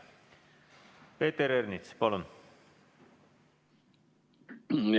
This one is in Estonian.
Peeter Ernits, palun!